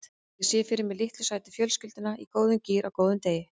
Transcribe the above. Ég sé fyrir mér litlu sætu fjölskylduna í góðum gír á góðum degi.